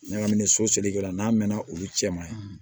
Ɲagamini so seliko la n'a mɛnna olu cɛ ma